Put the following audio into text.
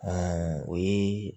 o ye